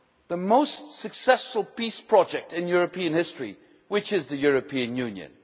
to the most successful peace project in European history, which is the European Union?